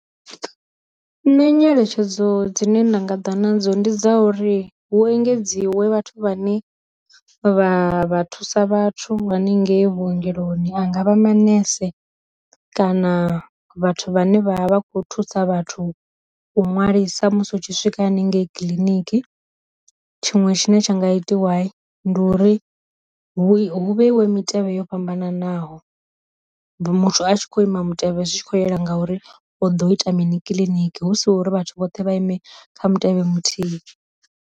Nṋe nyeletshedzo dzine nda nga ḓa nadzo ndi dza uri hu engedziwe vhathu vhane vha vha thusa vhathu hanengei vhuongeloni anga vha manese, kana vhathu vhane vha vha kho thusa vhathu u nwalisa musi u tshi swika haningei kiḽiniki, tshiṅwe tshine tsha nga itwa ndi uri vhu hu vheiwe mitevhe yo fhambananaho, muthu a tshi kho ima mutevhe zwi tshi kho yela ngauri o ḓo ita mini kiḽiniki hu si uri vhathu vhoṱhe vha ime kha mutevhe muthihi.